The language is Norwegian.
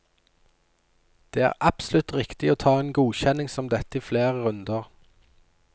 Det er absolutt riktig å ta en godkjenning som dette i flere runder.